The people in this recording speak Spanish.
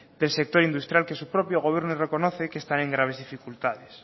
del sector industrial que su propio gobierno reconoce que están en graves dificultades